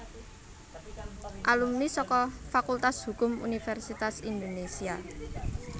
Alumni saka Fakultas Hukum Universitas Indonesia